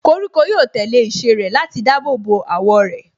Koríko yóò tẹ̀lé ìṣe rẹ̀ láti dáàbò bo àwọ̀ rẹ̀.